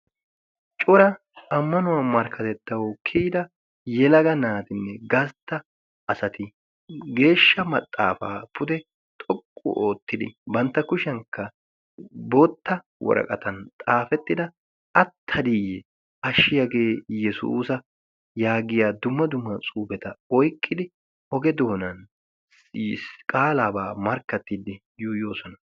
Cora ammanuwaa markkatettau kiyida yelaga naatinne gatta asati geeshsha maxaafaa pude xoqqu oottidi bantta kushiyankka bootta woraqatan xaafettida attadiiyye ashshiyaagee yesuusa yaagiya dumma duma cuubeta oyqqidi oge doonan masqqaaliyabaa markkattiddi yuuyoosona.